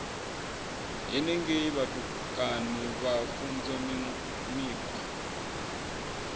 henengei vhutukani vha funzwa mikhwa